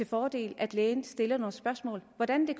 fordel at lægen stiller nogle spørgsmål hvordan det